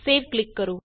save ਤੇ click ਕਰੋ